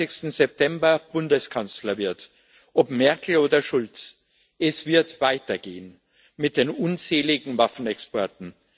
24. September Bundeskanzler wird ob Merkel oder Schulz es wird weitergehen mit den unzähligen Waffenexporten.